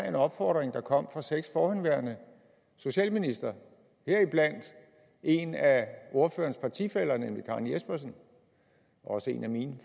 en opfordring der kom fra seks forhenværende socialministre heriblandt en af ordførerens partifæller nemlig karen jespersen også en af mine